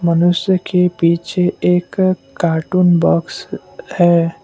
मनुष्य के पीछे एक कार्टून बॉक्स है ।